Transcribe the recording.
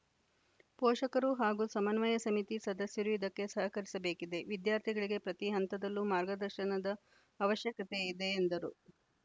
ಪೋಷಕರು ಹಾಗೂ ಸಮನ್ವಯ ಸಮಿತಿ ಸದಸ್ಯರು ಇದಕ್ಕೆ ಸಹಕರಿಸಬೇಕಿದೆ ವಿದ್ಯಾರ್ಥಿಗಳಿಗೆ ಪ್ರತಿ ಹಂತದಲ್ಲೂ ಮಾರ್ಗದರ್ಶನದ ಅವಶ್ಯಕತೆ ಇದೆ ಎಂದರು